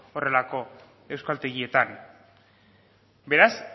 horrelako euskaltegietan beraz